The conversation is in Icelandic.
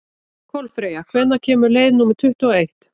Kolfreyja, hvenær kemur leið númer tuttugu og eitt?